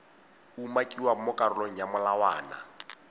umakiwang mo karolong ya molawana